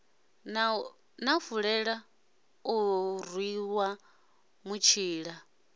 na fulela o ruṅwa mutshila